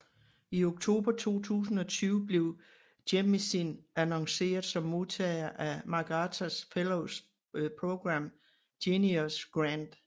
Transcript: I oktober 2020 blev Jemisin annonceret som modtager af MacArthur Fellows Program Genius Grant